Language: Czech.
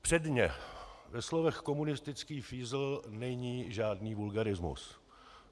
Předně ve slovech komunistický fízl není žádný vulgarismus.